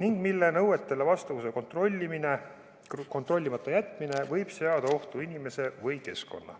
ning mille nõuetele vastavuse kontrollimata jätmine võib seada ohtu inimese või keskkonna.